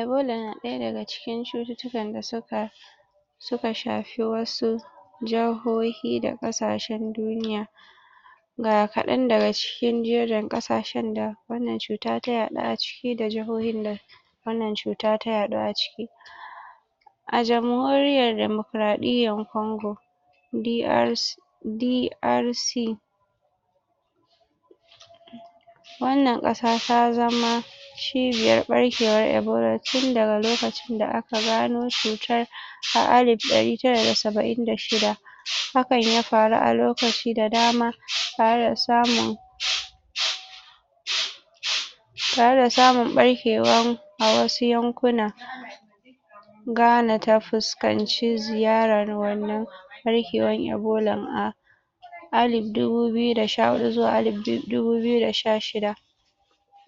Ebola na daya daga cikin cuttutukan da suka suka shafi wasu Jahohi da kasashen duniya Ga kadan daga cikin jerin kasashen da Wannan cuta ta yadu A cikin da jahohi da Wannan cuta ta yadu a ciki. A jamhuriyar Dimokaradiyar kongo D.L D. L. C Wannan kasa ta zama Cibiyar barkewar ebola tun daga lokacin da aka gano cutar Ta alip dari tara da saba'in da shida Hakan ya faru a lokaci da dama Tare da samun Tare da samun barkewan A wasu yankuna Gana ta fuskanci ziyarar wannan Barkewar Ebolan A Ali dubu biyu da sha hudu zuwa alip dubu biyu da sha shida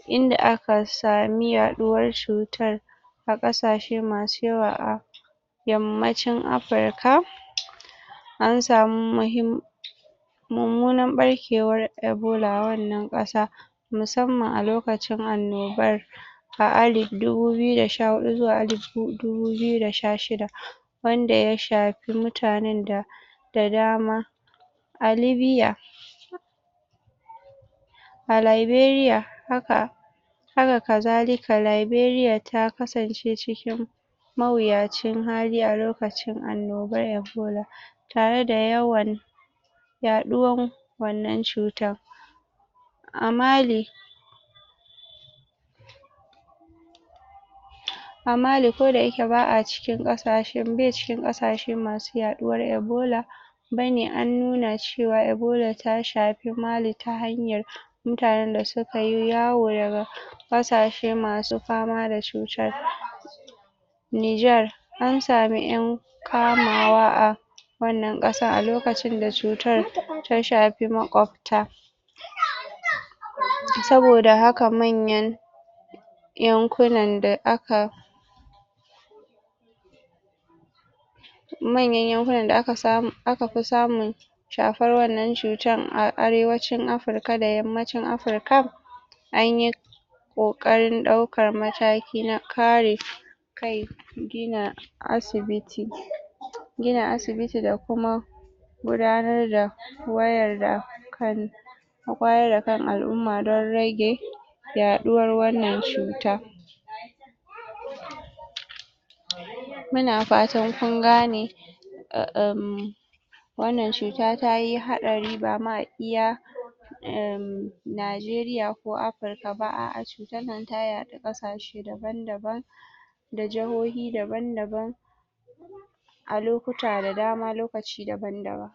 Inda aka sami yaduwar Cutar A kasashe masu yawa a, Yammacin afirika! Ansamu //////// Mummunan barkewar ebola a wannan kasar Musamman a lokacin annobar Ta ali dubu biyu da sha hudu zuwa alip dubu biyu da sha shida Wanda ya shafi mutanen da Da dama. A libiya A laiberiya Haka Haka kazalika laberiya ta kasance cikin A mawuyacin hali a lokacin annobar ebola Tare da yawan Yaduwan Wannan cuta A mali A mali ko dayake ba'a cikin kasashen bai cikin kasashen masu yaduwar ebola! Bayane-Bayane na cewa ebola ta shafi mali ta hanyar Mutanen da suka yi yawo daga Kasashe masu fama da cutar Nigar An samu yan, Kama wa a AWannan kasar a lokacin da cutar ta shafi makwabta Saboda haka nan ne Yankunan da aka Manyan yankunan da akafi samun Shafuwar wannan cuta a Arewacin Afirika da yammacin afirika Anyi kukarin daukar mataki na kare Kai Gina asibiti Gina asibiti da kuma Gudanar da Wannnan kari A wayar da kan al'umma don rage Yaduwar wannan cuta Muna fatan kun gane Wannan cuta tayi hadari bama iya Najeriya ko afirika ba a'a cutar nan ta yadu kasashe daban daban Da jahoyi daban-daban A lokaci da dama lokaci daban-daban